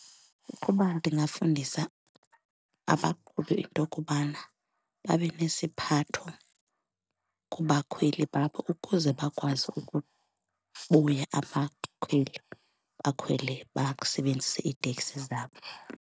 Ukuba ndingafundisa abaqhubi into yokubana babe nesiphatho kubakhweli babo ukuze bakwazi ukubuya abakhweli bakhwele, basebenzise iiteksi zabo.